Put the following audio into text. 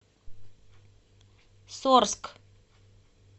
сорск